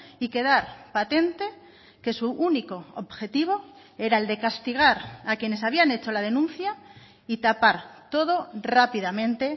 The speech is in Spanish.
y quedar patente que su único objetivo era el de castigar a quienes habían hecho la denuncia y tapar todo rápidamente